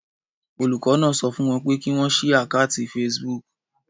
Olùkọ́ náà sọ fún wọn pé kí wọ́n ṣí àkátì Facebook.